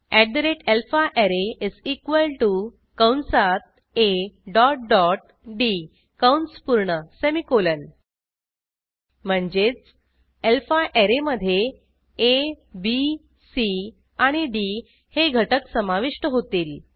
alphaArray कंसात A dot dot D कंस पूर्ण सेमिकोलॉन म्हणजेच अल्फाररे मधे आ बी सी आणि डी हे घटक समाविष्ट होतील